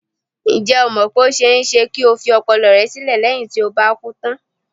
Ǹjẹ́ o mọ̀ pé ó ṣe-é-ṣe kí o fi ọpọlọ rẹ sílẹ̀ léyìn tí o bá kú tán?